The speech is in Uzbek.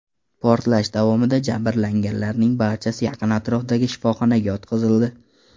Portlash davomida jabrlanganlarning barchasi yaqin atrofdagi shifoxonaga yotqizildi.